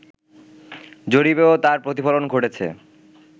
জরিপেও তার প্রতিফলন ঘটেছে